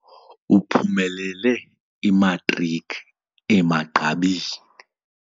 Uphumelele imatriki emagqabini.